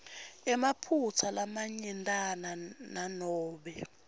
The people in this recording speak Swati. emaphutsa lamanyentana nanobe